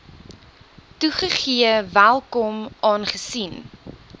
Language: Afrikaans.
toegegee welkom aangesien